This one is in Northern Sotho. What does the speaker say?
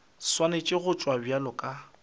swanetše go tšewa bjalo ka